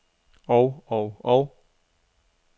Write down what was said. og og og